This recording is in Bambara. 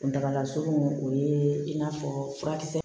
Kuntagala surun o ye in'a fɔ furakisɛ